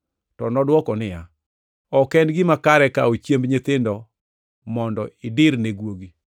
To nodwoko niya, “Ok en gima kare kawo chiemb nyithindo mondo idir ne guogi.”